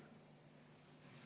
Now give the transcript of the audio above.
Ma ei arva seda.